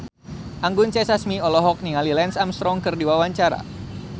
Anggun C. Sasmi olohok ningali Lance Armstrong keur diwawancara